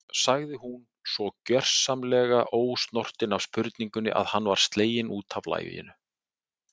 sagði hún, svo gersamlega ósnortin af spurningunni að hann var sleginn út af laginu.